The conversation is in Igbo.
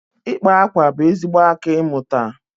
ịkpa akwa bụ ezigbo aka ịmụta